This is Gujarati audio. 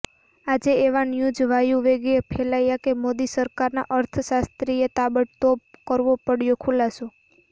આજે એવા ન્યૂઝ વાયુવેગે ફેલાયા કે મોદી સરકારના અર્થશાસ્ત્રીએ તાબડતોડ કરવો પડ્યો ખુલાસો